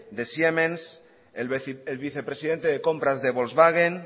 de siemens el vicepresidente de compras de volkswagen